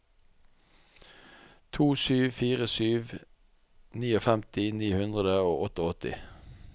to sju fire sju femtini ni hundre og åttiåtte